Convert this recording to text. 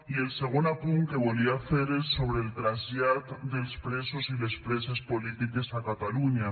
i el segon apunt que volia fer és sobre el trasllat dels presos i les preses polítiques a catalunya